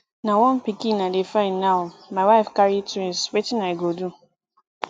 na one pikin i dey find now my wife carry twins wetin i go do